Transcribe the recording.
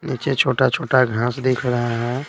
नीचे छोटा-छोटा घास दिख रहा है।